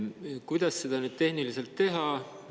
Kuidas seda tehniliselt teha?